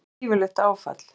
Það væri gífurlegt áfall.